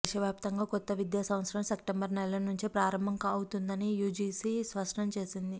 దేశవ్యాప్తంగా కొత్త విద్యా సంవత్సరం సెప్టెంబర్ నెల నుంచి ప్రారంభమవుతుందని యూజీసీ స్పష్టం చేసింది